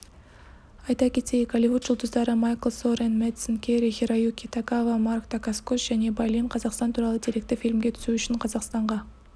айта кетейік голливуд жұлдыздары майкл сорен мэдсен кэри-хироюки тагава марк дакаскос және бай лин қазақстан туралы деректі фильмге түсу үшін қазақстанға